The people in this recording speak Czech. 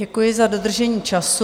Děkuji za dodržení času.